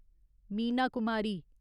Meena Kumari